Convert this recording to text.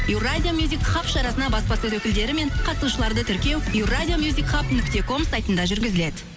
евразия шарасына баспасөз өкілдері мен қатысушыларды тіркеу еуразия нүкте ком сайтында жүргізіледі